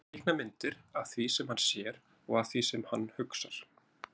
Að teikna myndir af því sem hann sér og af því sem hann hugsar.